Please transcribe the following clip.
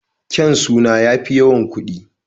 Kyaun suna ya fi yawan kuɗI